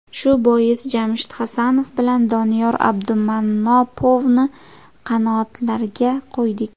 Shu bois Jamshid Hasanov bilan Doniyor Abdumannopovni qanotlarga qo‘ydik.